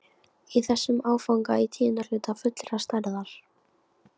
Í þessum áfanga í tíunda hluta fullrar stærðar.